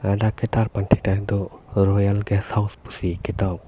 ladak ketar thek pon long do boyang guest house.